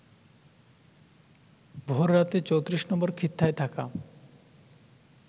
ভোর রাতে ৩৪ নম্বর খিত্তায় থাকা